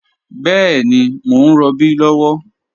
Bẹẹni, mọ̀ n rọbí lọwọ